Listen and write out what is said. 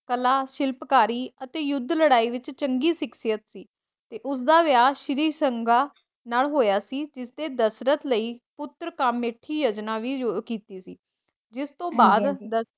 ਕਲਾ, ਸ਼ਿਲਪਕਾਰੀ ਅਤੇ ਯੁੱਧ ਲੜਾਈ ਵਿੱਚ ਚੰਗੀ ਸਿੱਖਿਅਤ, ਉਸਦਾ ਵਿਆਹ ਸ਼੍ਰੀ ਸੰਗਾ ਨਾਲ ਹੋਇਆ ਸੀ ਤੇ ਦਸ਼ਰਤ ਲਈ ਪੁੱਤਰ ਵੀ ਕੀਤੀ ਜਿਸਤੋਂ ਬਾਦ